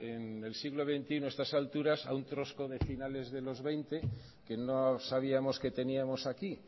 en el siglo veintiuno a estas alturas a un de finales de los veinte que no sabíamos que teníamos aquí